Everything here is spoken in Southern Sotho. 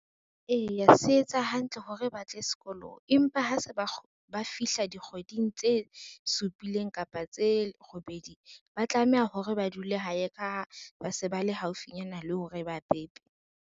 Eya se etsa hantle hore ba tle sekolong, empa ha se ba fihla dikgweding tse supileng kapa tse robedi. Ba tlameha hore ba dule hae ka ba se ba le haufinyana le hore ba pepe.